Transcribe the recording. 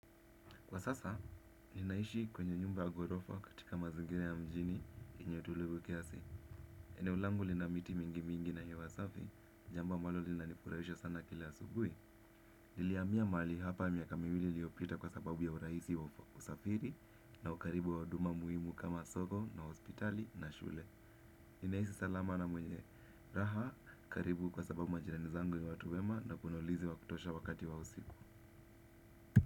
Kwa sasa, ninaishi kwenye nyumba ya ghorofa katika mazingira ya mjini yeye utulivu kiasi. Eneo langu lina miti mingi mingi na hewa safi, jambo ambalo lina nifurahisha sana kila asubuhi. Nilihamia mahali hapa miaka miwili liopita kwa sababu ya urahisi wa usafiri na ukaribu wa huduma muhimu kama soko na hospitali na shule. Ninaishi salama na mwenye raha, karibu kwa sababu majirani zangu ni watu wema na kuna ulinzi wakutosha wakati wa usiku.